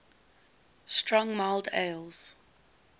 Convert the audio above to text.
strong mild ales